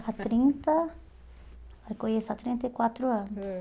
Há trinta... Eu conheço há trinta e quatro anos. Ãh